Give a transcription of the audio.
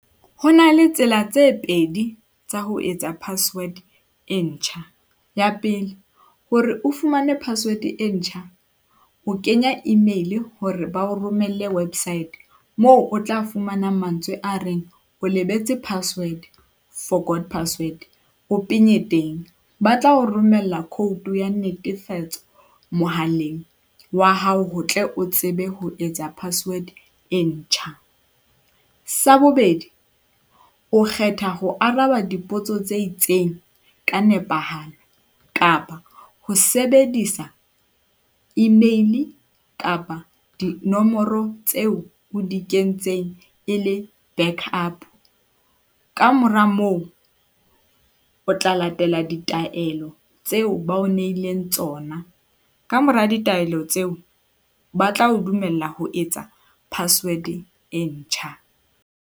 Ho na le tsela tse pedi tsa ho etsa password e ntjha. ya pele hore o fumane password e ntjha, o kenya email hore ba o romelle website moo o tla fumana mantswe a reng o lebetse password, forgot password, o penye teng. Ba tla o romella code ya netefatso mohaleng wa hao ho tle o tsebe ho etsa password e ntjha. Sa bobedi, o kgetha ho araba dipotso tse itseng ka nepahalo kapa ho sebedisa email-e kapa dinomoro tseo o di kentseng e le backup. Ka mora moo, o tla latela ditaelo tseo ba o nehileng tsona, ka mora ditaelo tseo ba tla o dumella ho etsa password e ntjha.